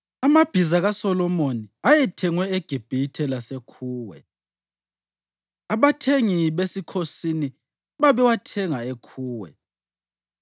Amabhiza kaSolomoni ayethengwe eGibhithe laseKhuwe, abathengi besikhosini babewathenga eKhuwe.